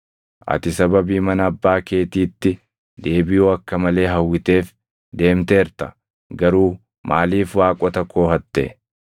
Ati sababii mana abbaa keetiitti deebiʼuu akka malee hawwiteef deemteerta; garuu maaliif waaqota koo hatte?”